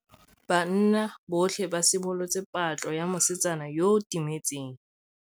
Banna botlhê ba simolotse patlô ya mosetsana yo o timetseng.